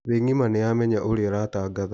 Thĩ ngima nĩ yamenya ũrĩa aratangatha